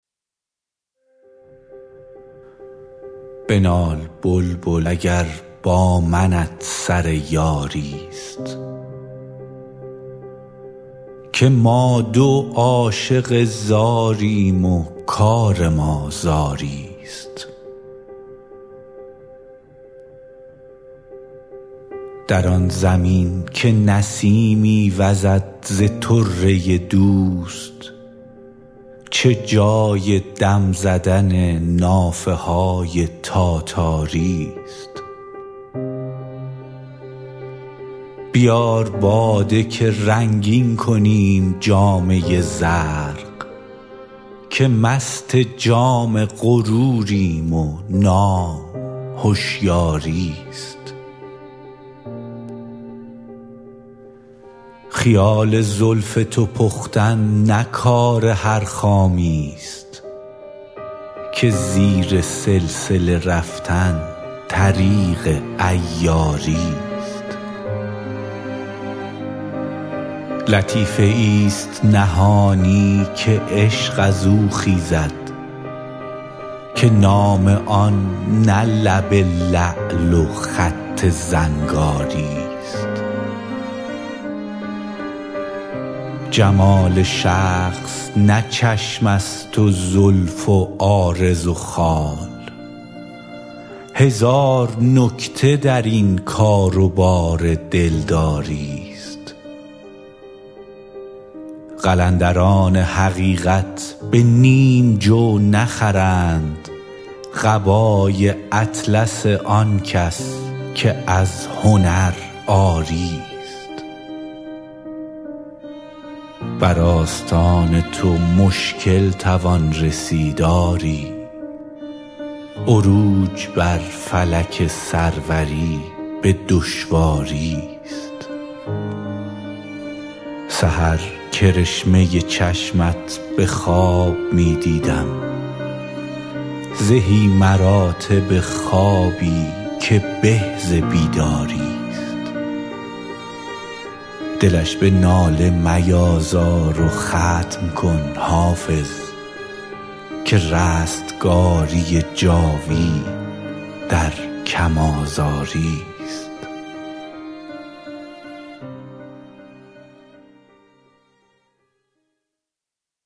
بنال بلبل اگر با منت سر یاری ست که ما دو عاشق زاریم و کار ما زاری ست در آن زمین که نسیمی وزد ز طره دوست چه جای دم زدن نافه های تاتاری ست بیار باده که رنگین کنیم جامه زرق که مست جام غروریم و نام هشیاری ست خیال زلف تو پختن نه کار هر خامی ست که زیر سلسله رفتن طریق عیاری ست لطیفه ای ست نهانی که عشق از او خیزد که نام آن نه لب لعل و خط زنگاری ست جمال شخص نه چشم است و زلف و عارض و خال هزار نکته در این کار و بار دلداری ست قلندران حقیقت به نیم جو نخرند قبای اطلس آن کس که از هنر عاری ست بر آستان تو مشکل توان رسید آری عروج بر فلک سروری به دشواری ست سحر کرشمه چشمت به خواب می دیدم زهی مراتب خوابی که به ز بیداری ست دلش به ناله میازار و ختم کن حافظ که رستگاری جاوید در کم آزاری ست